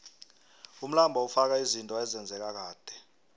umlando ufaka izinto ezenzeka kade